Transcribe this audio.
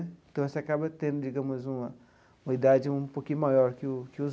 Então, você acaba tendo, digamos, uma uma idade um pouquinho maior que o que os.